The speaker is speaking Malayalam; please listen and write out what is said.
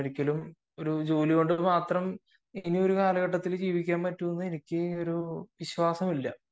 ഒരു ജോലി കൊണ്ട് മാത്രം ഈയൊരു കാലഘട്ടത്തിൽ ജീവിക്കാൻ പറ്റുമെന്ന് എനിക്കൊരു വിശ്വാസമില്ല